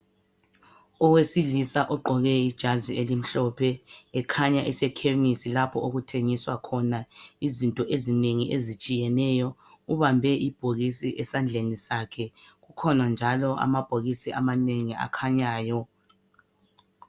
Owesilisa ogqoke ijazi elimhlophe ekhanya esekhemisi lapho okuthengiswa khona izinto ezinengi ezitshiyeneyo ubambe ibhokisi esandleni sakhe kukhona njalo amabhokisi amanengi akhanyayo.